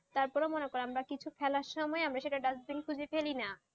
তারপরে মনে করো আমরা কিছু ফেলার সুময় আমরা সেটা dasbin খুঁজি ছাড়া ফেলিনা